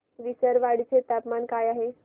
विसरवाडी चे तापमान काय आहे